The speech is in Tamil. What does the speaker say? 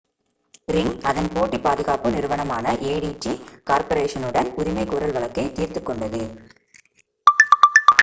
ரிங் அதன் போட்டி பாதுகாப்பு நிறுவனமான adt கார்ப்பரேஷனுடன் உரிமை கோரல் வழக்கை தீர்த்துக் கொண்டது